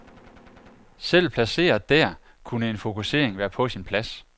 Selv placeret der, kunne en fokusering være på sin plads.